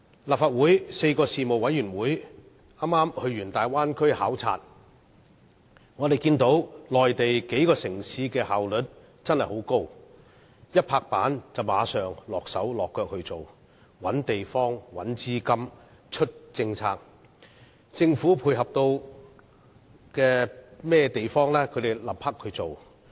立法會的4個事務委員會剛完成前往大灣區的考察，我們看到內地數個城市的效率很高，事情一拍板便馬上動工，包括找地方、找資金和推出政策，而政府可以配合的也會馬上做。